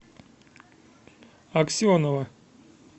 аксенова